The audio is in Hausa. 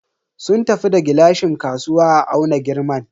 Sun tafi da gilashin kasuwa a auna girman.